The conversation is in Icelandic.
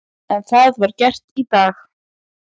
En það var gert í dag.